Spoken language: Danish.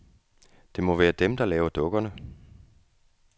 Det må være dem, der laver dukkerne.